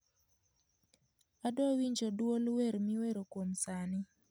adwa winjo duol wer miwero kwom sani